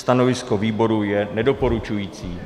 Stanovisko výboru je nedoporučující.